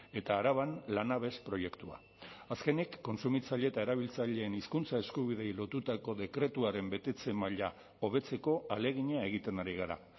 eta araban lanabes proiektua azkenik kontsumitzaile eta erabiltzaileen hizkuntza eskubideei lotutako dekretuaren betetze maila hobetzeko ahalegina egiten ari gara